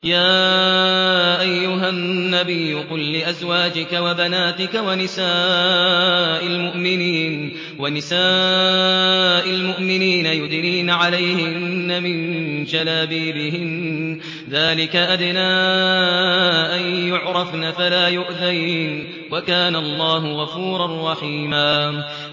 يَا أَيُّهَا النَّبِيُّ قُل لِّأَزْوَاجِكَ وَبَنَاتِكَ وَنِسَاءِ الْمُؤْمِنِينَ يُدْنِينَ عَلَيْهِنَّ مِن جَلَابِيبِهِنَّ ۚ ذَٰلِكَ أَدْنَىٰ أَن يُعْرَفْنَ فَلَا يُؤْذَيْنَ ۗ وَكَانَ اللَّهُ غَفُورًا رَّحِيمًا